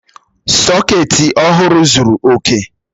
Sọọ̀kétí ọhụrụ zuru oke